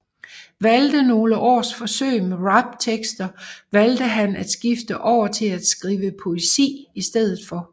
Efter nogle års forsøg med raptekster valgte han at skifte over til at skrive poesi i stedet for